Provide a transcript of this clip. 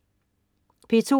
P2: